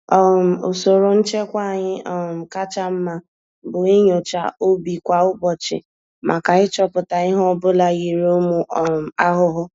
um Usoro nchekwa anyị um kacha mma bụ inyocha ubi kwa ụbọchị màkà ịchọpụta ihe ọbula yiri ụmụ um ahụhụ.